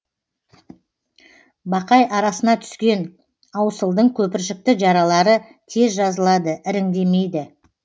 бақай арасына түскен аусылдың көпіршікті жаралары тез жазылады іріңдемейді